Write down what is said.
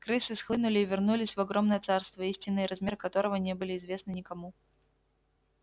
крысы схлынули и вернулись в огромное царство истинные размеры которого не были известны никому